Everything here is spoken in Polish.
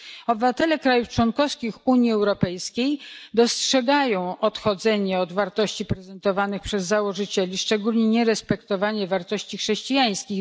Obywatele państw członkowskich Unii Europejskiej dostrzegają odchodzenie od wartości prezentowanych przez założycieli, a szczególnie nierespektowanie wartości chrześcijańskich.